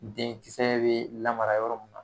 Denkisɛ bɛ lamara yɔrɔ mun.